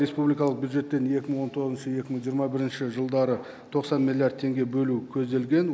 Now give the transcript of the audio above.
республикалық бюджеттен екі мың он тоғызыншы екі мың жиырма бірінші жылдары тоқсан миллиард теңге бөлу көзделген